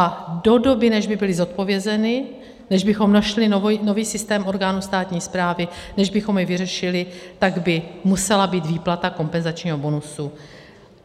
A do doby, než by byly zodpovězeny, než bychom našli nový systém orgánů státní správy, než bychom jej vyřešili, tak by musela být výplata kompenzačního bonusu